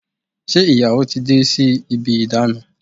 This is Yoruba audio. Ṣe ìyàwó ti dé sí ibi ìdána?